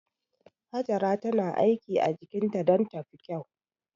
Hajara tana aiki a jikinta don ta fi kyau.